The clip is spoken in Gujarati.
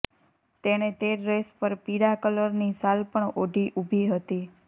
તેણે તે ડ્રેસ પર પીળા કલરની શાલ પણ ઓઢી ઉભી હતી